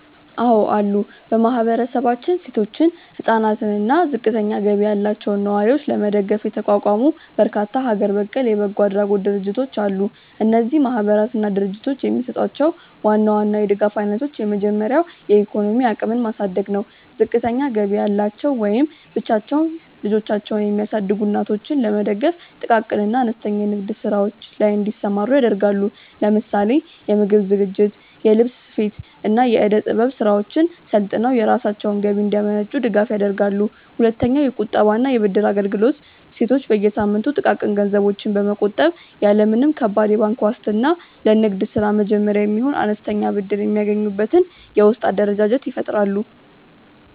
አዎ አሉ። በማህበረሰባችን ሴቶችን፣ ህፃናትን አና እና ዝቅተኛ ገቢ ያላቸውን ነዋሪዎች ለመደገፍ የተቋቋሙ በርካታ ሀገር በቀል የበጎ አድራጎት ድርጅቶች አሉ። እነዚህ ማህበራትና ድርጅቶች የሚሰጧቸውን ዋና ዋና የድጋፍ አይነቶች የመጀመሪያው የኢኮኖሚ አቅምን ማሳደግ ነው። ዝቅተኛ ገቢ ያላቸው ወይም ብቻቸውን ልጆቻቸውን የሚያሳድጉ እናቶችን ለመደገፍ ጥቃቅን እና አነስተኛ የንግድ ስራዎች ላይ እንዲሰማሩ ያደርጋሉ። ለምሳሌ የምግብ ዝግጅት፣ የልብስ ስፌት፣ እና የእደ-ጥበብ ስራዎችን ሰልጥነው የራሳቸውን ገቢ እንዲያመነጩ ድጋፍ ያደርጋሉ። ሁለተኛውየቁጠባ እና የብድር አገልግሎት ሴቶች በየሳምንቱ ጥቃቅን ገንዘቦችን በመቆጠብ፣ ያለ ምንም ከባድ የባንክ ዋስትና ለንግድ ስራ መጀመሪያ የሚሆን አነስተኛ ብድር የሚያገኙበትን የውስጥ አደረጃጀት ይፈጥራሉ።